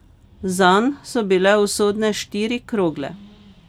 Zanj so bile usodne štiri krogle.